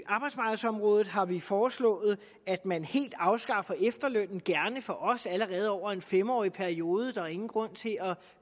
arbejdsmarkedsområdet har vi foreslået at man helt afskaffer efterlønnen gerne for os allerede over en fem årig periode der er ingen grund til at